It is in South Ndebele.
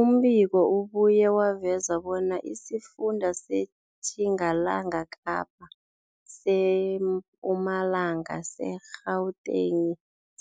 Umbiko ubuye waveza bona isifunda seTjingalanga Kapa, seMpumalanga, seGauteng,